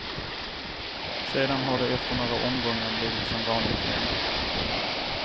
Sedan har det efter några omgångar blivit som vanligt igen.